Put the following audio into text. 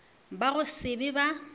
ba go se be ba